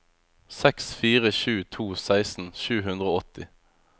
seks fire sju to seksten sju hundre og åtti